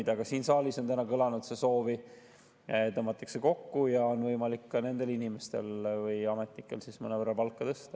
See soov on ka täna siin saalis kõlanud, et tõmmataks kokku ja oleks võimalik ka nendel inimestel, nendel ametnikel mõnevõrra palka tõsta.